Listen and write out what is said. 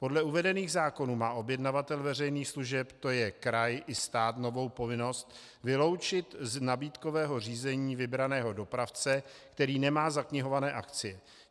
Podle uvedených zákonů má objednavatel veřejných služeb, to je kraj i stát, novou povinnost vyloučit z nabídkového řízení vybraného dopravce, který nemá zaknihované akcie.